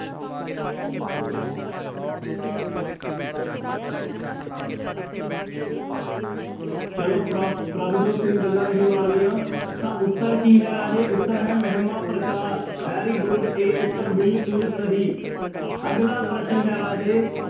ਚਲੋ ਪ੍ਰਭ ਪ੍ਰਭਜੋਤ ਸਿੰਘ ਗੱਲਾਂ ਨਹੀਂ ਮਾਰਨੀਆਂ, ਤਾਂ ਉੱਤਰ ਕੀ ਹੈ ਰਾਜੇ ਉੱਤਰ ਹੈ Mahima Prakash very good a ਉੱਤਰ ਬਿਲਕੁਲ ਸਹੀ, ਅਗਲਾ ਪ੍ਰਸ਼ਨ ਹੈ ਰਾਜੇ